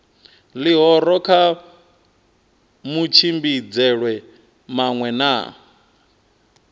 ḽihoro kha matshimbidzelwe maṅwe na